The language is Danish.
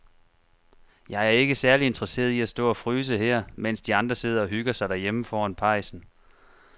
Jeg er ikke særlig interesseret i at stå og fryse her, mens de andre sidder og hygger sig derhjemme foran pejsen.